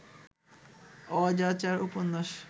অজাচার উপন্যাস